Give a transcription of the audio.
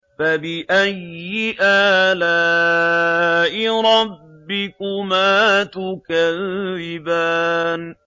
فَبِأَيِّ آلَاءِ رَبِّكُمَا تُكَذِّبَانِ